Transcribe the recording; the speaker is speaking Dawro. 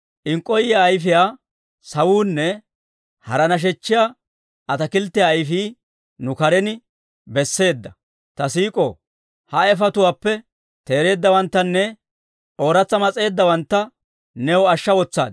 Inkkoyiyaa ayifiyaa sawuunne hara nashechchiyaa ataakilttiyaa ayifii, nu karen besseedda; ta siik'oo! Ha ayifetuwaappe teereeddawanttanne ooratsa mas'eeddawantta, new ashsha wotsaad.